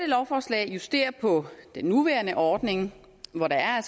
lovforslag justerer på den nuværende ordning hvor der